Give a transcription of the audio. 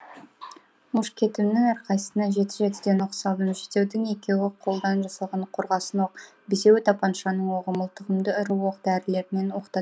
мушкетімнің әрқайсысына жеті жетіден оқ салдым жетеудің екеуі қолдан жасалған қорғасын оқ бесеуі тапаншаның оғы мылтығымды ірі оқ дәрілермен